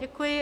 Děkuji.